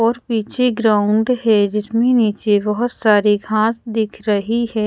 और पीछे ग्राउन्ड हैं जिसमे नीचे बहुत सारी घास दिख रही हैं।